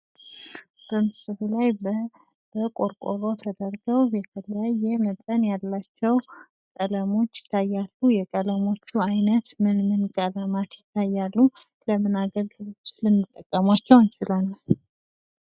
በምስሉ ላይ በቆርቆሮ ተደርገው በተለያየ መጠን ያላቸው ቀለሞች ይታያሉ ፤ የቀለሞቹ አይነት ምንምን ቀለማት ይታያሉ? ለምን አገልግሎት ልንጠቀማቸው እንችላለን?